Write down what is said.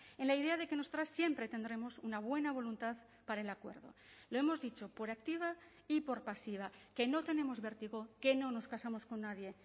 en la idea de que nosotras siempre tendremos una buena voluntad para el acuerdo lo hemos dicho por activa y por pasiva que no tenemos vértigo que no nos casamos con nadie